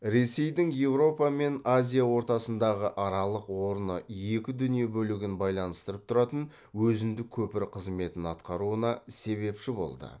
ресейдің еуропа мен азия ортасындағы аралық орны екі дүние бөлігін байланыстырып тұратын өзіндік көпір қызметін атқаруына себепші болды